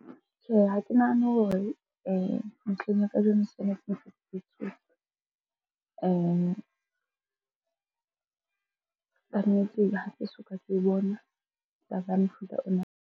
Tjhe, ha ke nahane hore ntlheng ya kajeno . Kannete ha ke soka ke bona taba ya mofuta ona.